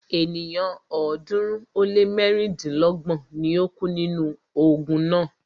Ènìyàn ọ̀ọ́dúnrún ó lé mẹ́rìndínlọ́gbọ̀n ni o kú nínú ogun náà.